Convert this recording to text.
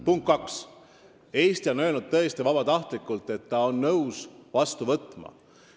Punkt 2: Eesti on tõesti vabatahtlikult öelnud, et ta on nõus neid vastu võtma.